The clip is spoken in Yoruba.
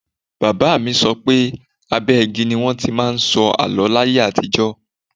Bàbá mi sọ pé abẹ́ igi ni wọn ti máa ń sọ àló láyé àtijọ́.